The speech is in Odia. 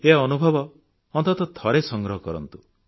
ଏ ଅନୁଭବ ଅନ୍ତତଃ ଥରେ ସଂଗ୍ରହ କରନ୍ତୁ